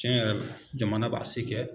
Tiɲɛ yɛrɛ la jamana b'a se kɛ